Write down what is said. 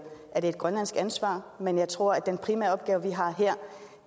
grønlandsk ansvar men jeg tror at den primære opgave vi har her